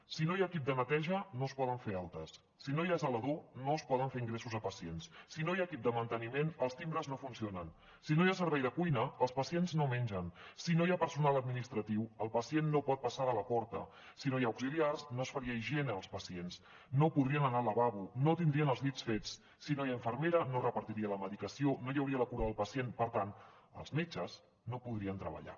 si no hi ha equip de neteja no es poden fer altes si no hi ha zelador no es poden fer ingressos a pacients si no hi ha equip de manteniment els timbres no funcionen si no hi ha servei de cuina els pacients no mengen si no hi ha personal administratiu el pacient no pot passar de la porta si no hi ha auxiliars no es faria higiene als pacients no podrien anar al lavabo no tindrien els llits fets si no hi ha infermera no es repartiria la medicació no hi hauria la cura del pacient per tant els metges no podrien treballar